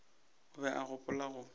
o be a gopola go